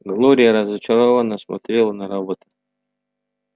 глория разочарованно смотрела на робота